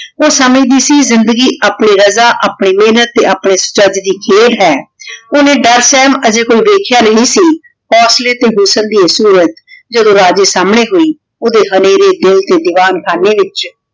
ਊ ਸਮਝਦੀ ਸੀ ਜਿੰਦੀ ਆਪਣੀ ਰਾਜਾ ਆਪਣੀ ਮੇਹਨਤ ਤੇ ਅਪਨੇ ਦੀ ਹੈ ਓਹਨੇ ਅਜਯ ਕੁਜ ਦੇਖ੍ਯਾ ਨਹੀ ਸੀ ਤੇ ਹੁਸਨ ਦੀ ਸੋਰਤ ਜਦੋਂ ਰਾਜੇ ਸਾਮਣੇ ਹੋਈ ਓਡੀ ਹਨੇਰੀ ਦਿਨ ਤੇ ਦੀਵਾਨ ਖਾਨੇ ਵਿਚ